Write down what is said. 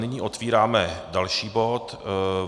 Nyní otevíráme další bod.